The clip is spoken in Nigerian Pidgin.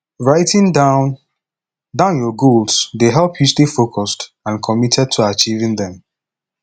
writing down down your goals dey help you stay focused and committed to achieving dem